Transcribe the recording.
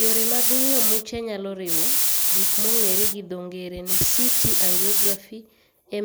Yore mag ng'iyo muche nyalo riwo: gik mong'ere gi dho ng'ere ni CT angiography,